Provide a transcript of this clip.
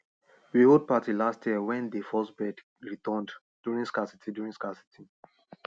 we hold party last year wen dey first birds returned during scarcity during scarcity